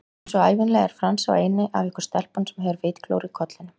Einsog ævinlega er Franz sá eini af ykkur stelpunum sem hefur vitglóru í kollinum